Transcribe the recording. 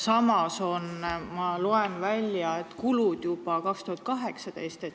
Samas on, ma loen siit välja, kulud juba aastal 2018.